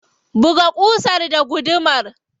Buga ƙusar da gudumar.